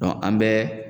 an bɛ